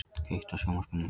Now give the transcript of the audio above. , kveiktu á sjónvarpinu.